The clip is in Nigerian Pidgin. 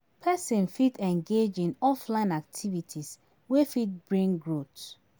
Person fit engage in offline activities wey fit bring growth